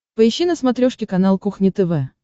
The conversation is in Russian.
поищи на смотрешке канал кухня тв